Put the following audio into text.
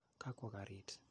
Ga kwo karit .